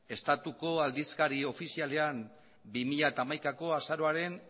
estatuko aldizkari ofizialean bi mila hamaikako azaroaren